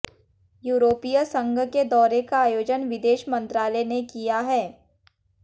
यूरोपीय संघ के दौरे का आयोजन विदेश मंत्रालय ने किया है